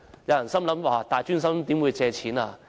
有人會想，大專生怎會借錢呢？